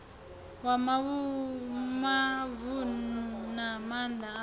wa mavunu na maana apo